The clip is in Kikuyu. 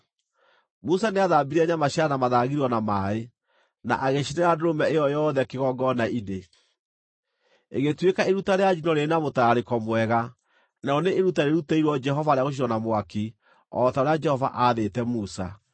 Musa nĩathambirie nyama cia nda na mathagiro na maaĩ, na agĩcinĩra ndũrũme ĩyo yothe kĩgongona-inĩ, ĩgĩtuĩka iruta rĩa njino rĩrĩ na mũtararĩko mwega, narĩo nĩ iruta rĩrutĩirwo Jehova rĩa gũcinwo na mwaki, o ta ũrĩa Jehova aathĩte Musa.